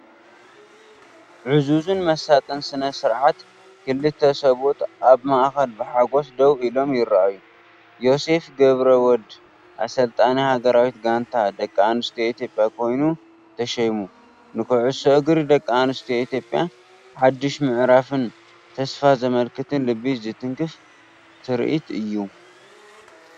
ዕዙዝን መሳጥን ስነ-ስርዓት፣ ክልተ ሰብኡት ኣብ ማእከል ብሓጎስ ደው ኢሎም ይረኣዩ። "ዮሴፍ ገብረወልድ ኣሰልጣኒ ሃገራዊት ጋንታ ደቂ ኣንስትዮ ኢትዮጵያ ኮይኑ ተሸይሙ" ንኹዕሶ እግሪ ደቂ ኣንስትዮ ኢትዮጵያ ሓድሽ ምዕራፍን ተስፋን ዘመልክት ልቢ ዝትንክፍ ትርኢት'ዩ!